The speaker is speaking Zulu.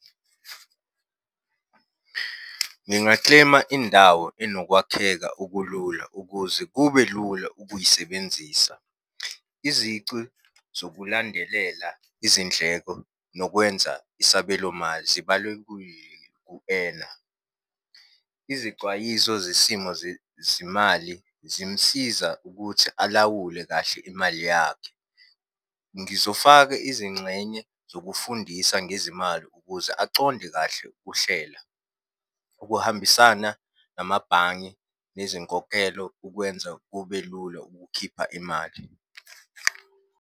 Nginga-claim-a indawo enokwakheka okulula ukuze kube lula ukuyisebenzisa. Izici zokulandelela izindleko nokwenza isabelomali . Izixwayiso zesimo zezimali zimusiza ukuthi alawule kahle imali yakhe. Ngizofaka izingxenye zokufundisa ngezimali ukuze aconde kahle ukuhlela. Ukuhambisana namabhange nezinkokhelo kukwenza kube lula ukukhipha imali.